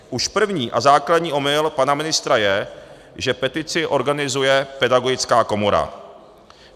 Už první a základní omyl pana ministra je, že petici organizuje Pedagogická komora.